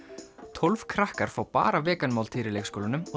tólf krakkar fá bara vegan máltíðir í leikskólanum og